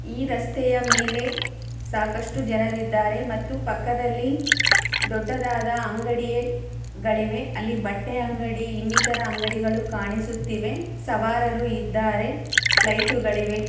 ಈ ರಸ್ತೆಯ ಮೇಲೆ ಸಾಕಷ್ಟು ಜನರು ಇದ್ದಾರೆ ಮತ್ತು ಪಕ್ಕದಲ್ಲಿ ದೂಡ್ಡ ಅಂಗಡಿಗಳಿವೆ ಬಟ್ಟೆ ಅಂಗಡಿಗಳೂ ಇನಿತಾರ ಅಂಗಡಿಗಳು ಕಾಣುತ್ತಿವೆ ಸವಾರರೂ ಇದ್ದಾರೆ ಲೈಟಗಳು ಇವೆ.